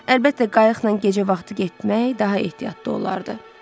Əlbəttə, qayıqla gecə vaxtı getmək daha ehtiyatlı olardı.